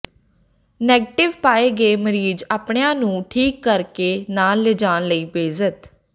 negative ਪਾਏ ਗਏ ਮਰੀਜ਼ ਆਪਣਿਆਂ ਨੂੰ ਠੀਕ ਕਰਕੇ ਨਾਲ ਲਿਜਾਣ ਲਈ ਬਜ਼ਿੱਦ